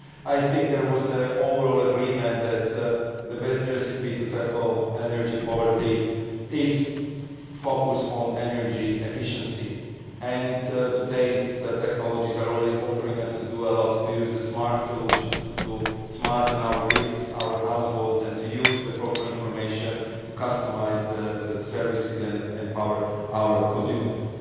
I think there was an overall agreement that the best recipe to tackle energy poverty is to focus on energy efficiency, and today's technologies are already offering us to do a lot to use the smart solutions, to smarten our grids, our households and to use the proper information to customise the services and empower our consumers.